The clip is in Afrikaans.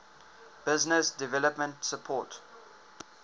business development support